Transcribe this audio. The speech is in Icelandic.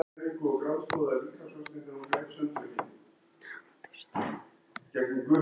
Hann þrífur í axlirnar á mér.